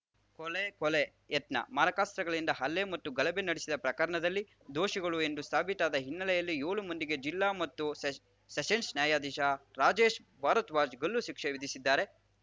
ಕೊಲೆ ಕೊಲೆ ಯತ್ನ ಮಾರಕಾಸ್ತ್ರಗಳಿಂದ ಹಲ್ಲೆ ಮತ್ತು ಗಲಭೆ ನಡೆಸಿದ ಪ್ರಕರಣದಲ್ಲಿ ದೋಷಿಗಳು ಎಂದು ಸಾಬೀತಾದ ಹಿನ್ನೆಲೆಯಲ್ಲಿ ಏಳು ಮಂದಿಗೆ ಜಿಲ್ಲಾ ಮತ್ತು ಸೆಷ ಸೆಷನ್ಸ್‌ ನ್ಯಾಯಾಧೀಶ ರಾಜೇಶ್‌ ಭಾರದ್ವಾಜ್‌ ಗಲ್ಲು ಶಿಕ್ಷೆ ವಿಧಿಸಿದ್ದಾರೆ